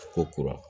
Ko kura